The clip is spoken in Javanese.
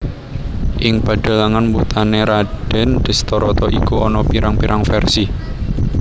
Ing padhalangan wutané Radèn Dhestharata iku ana pirang pirang versi